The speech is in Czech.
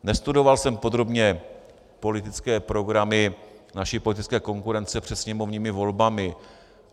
Nestudoval jsem podrobně politické programy naší politické konkurence před sněmovními volbami.